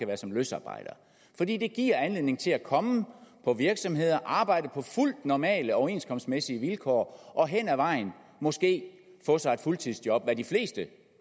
være som løsarbejder fordi det giver anledning til at komme på virksomheder arbejde på fuldt normale overenskomstmæssige vilkår og henad vejen måske få sig et fuldtidsjob hvad de fleste